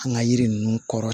An ka yiri ninnu kɔrɔ